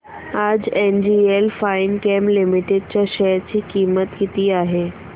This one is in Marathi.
आज एनजीएल फाइनकेम लिमिटेड च्या शेअर ची किंमत किती आहे